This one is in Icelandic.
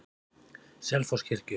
Selfosskirkju